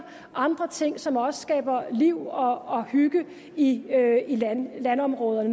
andre ting som også skaber liv og hygge i landområderne